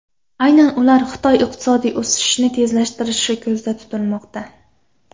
Aynan ular Xitoy iqtisodiy o‘sishini tezlashtirishi ko‘zda tutilmoqda.